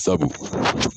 Sabu